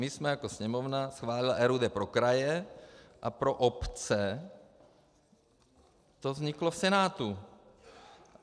My jsme jako Sněmovna schválili RUD pro kraje a pro obce to vzniklo v Senátu.